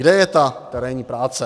Kde je ta terénní práce?